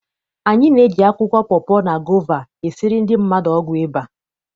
Anyị na-eji akwụkwọ pọpọ, na gova esiri ndị mmadụ ọgwụ ịba.